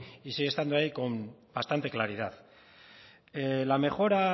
y sigue estando ahí con bastante claridad la mejora